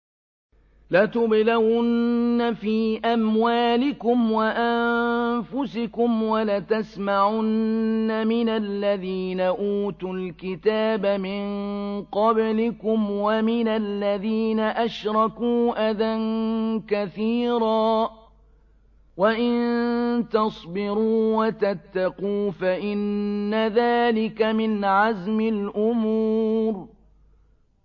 ۞ لَتُبْلَوُنَّ فِي أَمْوَالِكُمْ وَأَنفُسِكُمْ وَلَتَسْمَعُنَّ مِنَ الَّذِينَ أُوتُوا الْكِتَابَ مِن قَبْلِكُمْ وَمِنَ الَّذِينَ أَشْرَكُوا أَذًى كَثِيرًا ۚ وَإِن تَصْبِرُوا وَتَتَّقُوا فَإِنَّ ذَٰلِكَ مِنْ عَزْمِ الْأُمُورِ